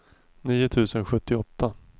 nio tusen sjuttioåtta